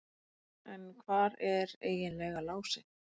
En hvar er eiginlega Lási?